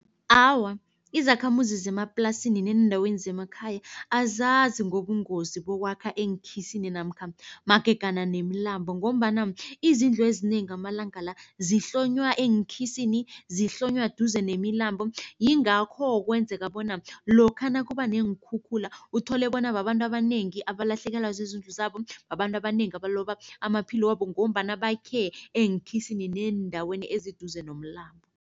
Awa, izakhamuzi zemaplasini neendaweni zemakhaya azazi ngobungozi bokwakha eenkhisini namkha magegana nemilambo ngombana izindlu ezinengi amalanga la zihlonywa eenkhisini, zihlonywa duze nemilambo. Yingakho kwenzeka bona lokha nakuba neenkhukhula, uthole bona babantu abanengi abalahlekela zizindlu zabo. Babantu abanengi abaloba amaphilo wabo ngombana bakhe eenkhisini neendaweni eziduze nomlambo.